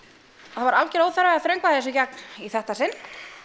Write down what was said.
það var algjör óþarfi að þröngva þessu í gegn í þetta sinn